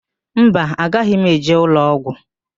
Mba, agaghị m eje ụlọọgwụ.